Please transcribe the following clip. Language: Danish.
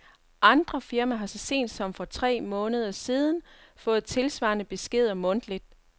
Andre firmaer har så sent som for tre måneder siden fået tilsvarende beskeder mundtligt.